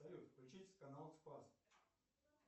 салют включить канал спас